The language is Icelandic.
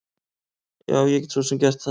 Já, ég get svo sem gert það.